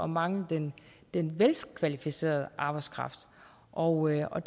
mangle den den velkvalificerede arbejdskraft og og